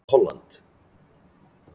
Holland